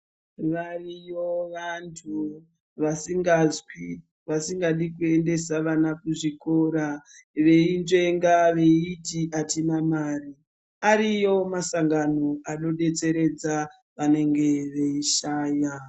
Variyo vantu vasingazwi vasingadi kuendesa vana kuzvikora, veinzvenga veiti atina mare, ariyo masangano anodetseredza vanenge veishaya.